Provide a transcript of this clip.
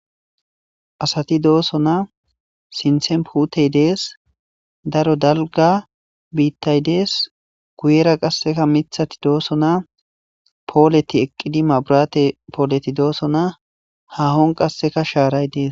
Asati dooso naa sinthen putey dees daro dalga biittay dees guyera qasseka mithati dooso naa pooleti eqqidi maburate pooleti dooso naa hahon qasseka shaaray dees.